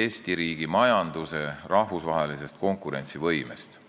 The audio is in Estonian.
Eesti majanduse rahvusvahelisest konkurentsivõimest.